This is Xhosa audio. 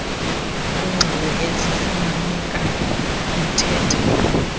kwiingxelo ezifumanekayo nothetha